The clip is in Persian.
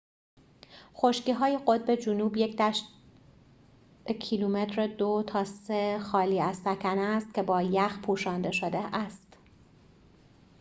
خشکی‌های قطب جنوب یک دشت خالی از سکنه است که با ‎2-3 کیلومتر یخ پوشانده شده است